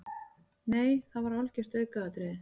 Nei það var algjört aukaatriði.